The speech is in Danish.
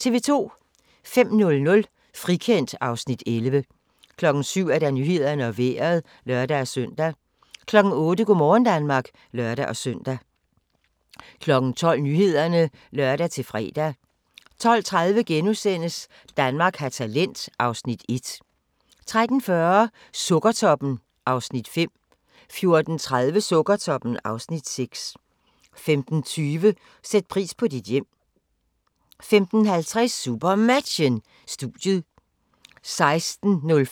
05:00: Frikendt (Afs. 11) 07:00: Nyhederne og Vejret (lør-søn) 08:00: Go' morgen Danmark (lør-søn) 12:00: Nyhederne (lør-fre) 12:30: Danmark har talent (Afs. 1)* 13:40: Sukkertoppen (Afs. 5) 14:30: Sukkertoppen (Afs. 6) 15:20: Sæt pris på dit hjem 15:50: SuperMatchen: Studiet 16:05: SuperMatchen: Odense-TTH Holstebro (k), direkte